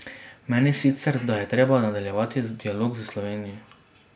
Meni sicer, da je treba nadaljevati dialog s Slovenijo.